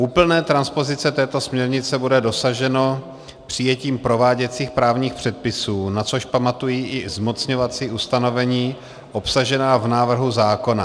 Úplné transpozice této směrnice bude dosaženo přijetím prováděcích právních předpisů, na což pamatují i zmocňovací ustanovení obsažená v návrhu zákona.